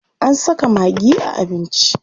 An saka maggi a abinci.